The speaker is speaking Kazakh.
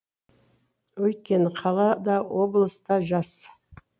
өйткені қала да облас та жас